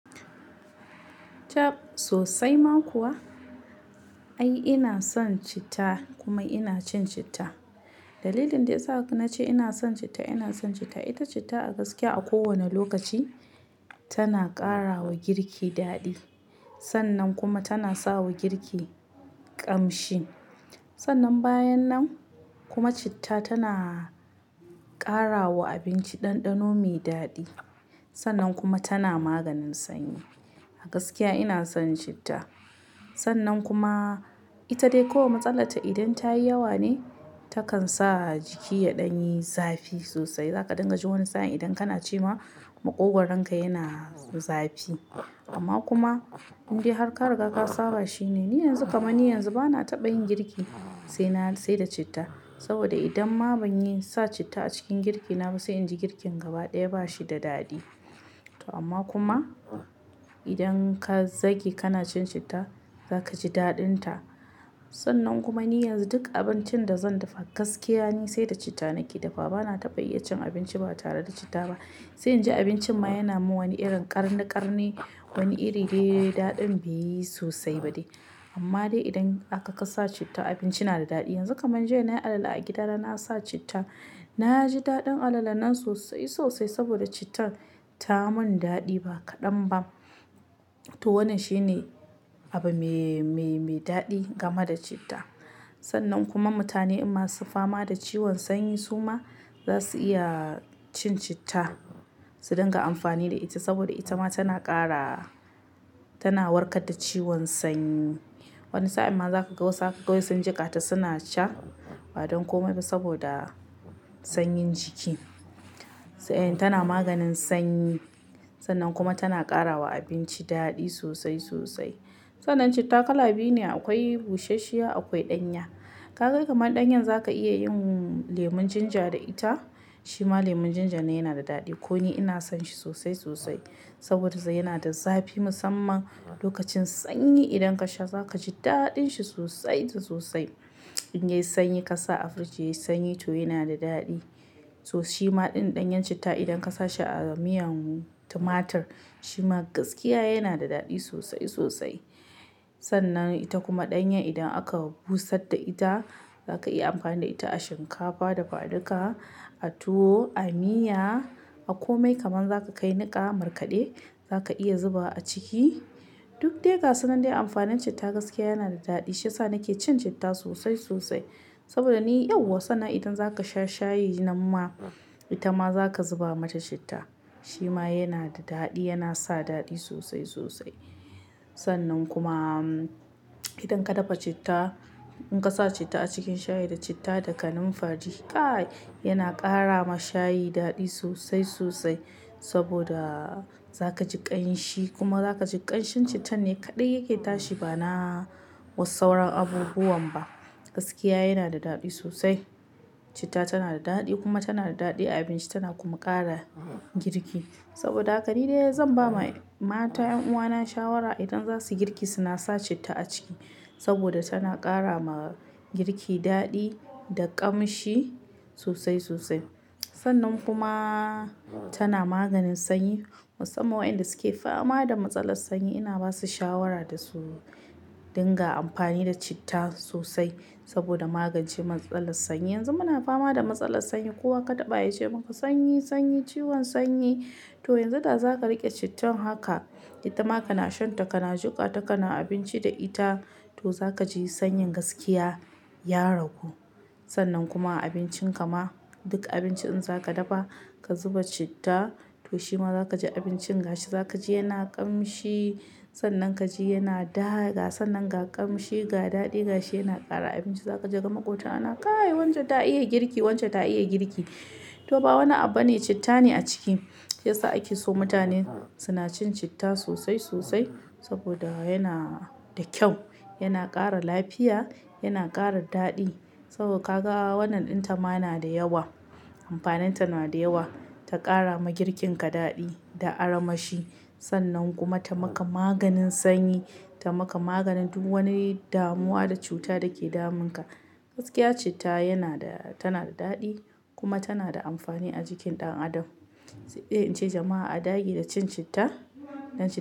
Chab sosai ma kuwa. Ai ina son citta kuma ina cin citta. Dalilin da yasa na ce ina son citta, ina son citta ita citta a gaskiya a kowane lokaci tana ƙara wa girki daɗi. Sannan kuma tana sa wa girki ƙamshi. Sannan bayan nan kuma citta tana ƙara wa abinci ɗanɗano mai daɗi. Sannan kuma tana maganin sanyi. A gaskiya ina son citta. Sannan kuma ita dai kawai matsalarta idan ta yi yawa ne takan sa jiki ya ɗan yi zafi sosai. Zaka dinga ji wani sa'a idan kana ci ma maƙogwaronka yana zafi. Amma kuma indai harka riga ka saba shine. Ni yanzu kamarni yanzu bana taɓa yin girki sai na-- sai da citta. Saboda idan ma ban yi sa citta a cikin girki na ba sai in ji girkin gaba ɗaya ba shi da daɗi. To amma kuma idan ka zage kana cin citta zaka ji daɗin ta. Sannan kuma ni yanzu duk abincin da zan dafa gaskiya ne sai da citta nake dafa. Bana taɓa iya cin abinci ba tare da citta ba. Sai in ji abincin ma yana mun wani irin ƙarniƙarni, wani iri dai daɗin bai yi sosai ba dai. Amma dai idan aka ka sa citta abinci yana da daɗi. Yanzu kaman jiya nayi alala a gida da na sa citta na ji daɗin alala nan sosai sosai saboda cittar ta mun daɗi ba kaɗan ba. To wannan shine abu me, me, me daɗi game da citta. Sannan kuma mutane masu fama da ciwon sanyi suma za su iya cin citta su dinga amfani da ita saboda ita ma tana ƙara-- tana warkar da ciwon sanyi. Wani sa'in ma za ka ga wasu haka kawai sun jiƙata suna sha ba don komai ba saboda sanyin jiki. Sai tana maganin sanyi. Sannan kuma tana ƙara wa abinci daɗi sosai sosai. Sannan citta kala biyu ne akwai bushashshiya akwai ɗanya. Ka ga kamar ɗanyan za ka iya yin lemon ginger da ita. Shima lemon ginger na yana da daɗi. Ko ni ina son shi sosai sosai saboda sai yana da zafi musamman lokacin sanyi idan ka sha za ka ji daɗin shi sosai da sosai. In yayi sanyi ka sa a firiji yayi sanyi to yana da daɗi. To shima ɗin ɗanyan citta idan ka sa shi a miyan tumatir shima gaskiya yana da daɗi sosai sosai. Sannan ita kuma ɗanyan idan aka busar da ita za ka iya amfani da ita a shinkafa, dafa duka, a tuwo, a miya, a komai kamar za ka kai niƙa markade za ka iya zuba a ciki. Duk dai ga sunan dai amfanin citta gaskiya yana da daɗi. Shi yasa nake cin citta sosai sosai. Saboda ni yauwa sannan idan za ka sha shayi nan ma ita ma za ka zuba mata citta. Shima yana da daɗi yana sa daɗi sosai sosai. Sannan kuma idan ka dafa citta in ka sa citta a cikin shayi da citta da kanumfari, kaai yana ƙara ma shayi daɗi sosai sosai saboda za ka ji ƙanshi kuma za ka ji ƙanshin cittan ne kaɗai yake tashi ba na wasu sauran abubuwan ba. Gaskiya yana da daɗi sosai. Citta tana da daɗi kuma tana da daɗi a abinci tana kuma ƙara girki. Saboda haka ni dai zan ba ma mata, 'yan uwana shawara idan za su girki suna sa citta a ciki saboda tana ƙara ma girki daɗi da ƙamshi sosai sosai. Sannan kuma tana maganin sanyi. Musamman wayanda suke fama da matsalar sanyi ina ba su shawara da su dinga amfani da citta sosai saboda magance matsalar sanyi. Yanzu muna fama da matsalar sanyi kowa ka taɓa ya ce maka sanyi, sanyi, ciwon sanyi. To yanzu da za ka riƙe cittan haka ita ma kana shan ta, kana jiƙa ta, kana abinci da ita to za ka ji sanyin gaskiya ya ragu. Sannan kuma abincin kama duk abinci in za ka dafa ka zuba citta to shima za ka ji abincin gashi za ka ji yana ƙamshi. Sannan ka ji yana daɗi. Ga sannan ga ƙamshi, ga daɗi gashi yana ƙara abinci. Za ka ji daga maƙota ana kaai wance ta iya girki wance ta iya girki. To ba wani abu ne citta ne a ciki. Shiyasa ake so mutanen suna cin citta sosai sosai saboda yana da kyau, yana ƙara lafiya, yana ƙara daɗi. Saboda ka ga wannan ɗin ta ma na da yawa. Amfanin ta na da yawa. Ta ƙara ma girkin ka daɗi da armashi. Sannan kuma ta maka maganin sanyi, ta maka maganin duk wani damuwa da cuta da ke damun ka. Gaskiya citta yana da tana da daɗi kuma tana da amfani a jikin ɗan adam. Sedai in ce jama'a a dage da cin citta. Dan.